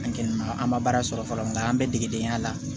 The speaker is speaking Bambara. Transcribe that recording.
An kɛlen don an ma baara sɔrɔ fɔlɔ nka an bɛ degedenya la